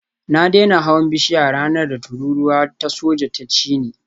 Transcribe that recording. Na daina hawan bishiya ranar da tururuwa ta soja ta cini